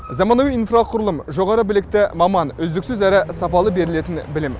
заманауи инфрақұрылым жоғары білікті маман үздіксіз әрі сапалы берілетін білім